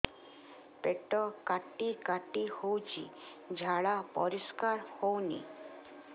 ପେଟ କାଟି କାଟି ହଉଚି ଝାଡା ପରିସ୍କାର ହଉନି